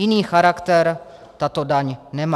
Jiný charakter tato daň nemá.